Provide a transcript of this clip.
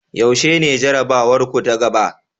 Yaushe ne jarabawarku ta gaba?